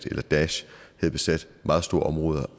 eller daesh havde besat meget store områder